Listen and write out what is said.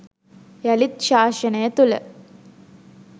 යළිත් ශාසනය තුළ